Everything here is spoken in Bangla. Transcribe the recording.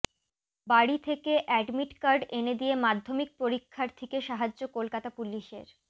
বাড়ি থেকে অ্যাডমিট কার্ড এনে দিয়ে মাধ্যমিক পরীক্ষার্থীকে সাহায্য কলকাতা পুলিসের